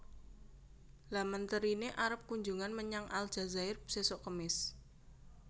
Lha menterine arep kunjungan menyang Aljazair sesok kemis